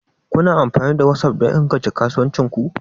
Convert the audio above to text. Kuna amfani da WhatsApp don inganta kasuwancin ku?